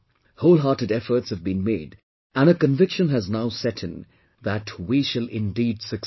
Wholehearted efforts have been made and a conviction has now set in that we shall indeed succeed